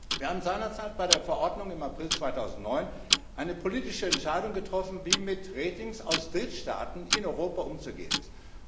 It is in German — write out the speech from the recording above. Wir haben seinerzeit bei der Verordnung im April 2009 eine politische Entscheidung getroffen, wie mit Ratings aus Drittstaaten in Europa umzugehen ist.